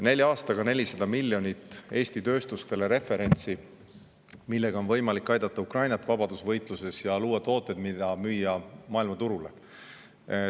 Nelja aastaga 400 miljonit Eesti tööstustele referentsi, millega on võimalik aidata Ukrainat vabadusvõitluses ja luua tooteid, mida müüa maailmaturule.